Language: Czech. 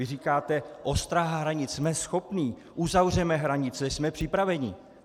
Vy říkáte: Ostraha hranic, jsme schopni, uzavřeme hranice, jsme připraveni.